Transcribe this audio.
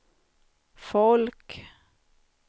folk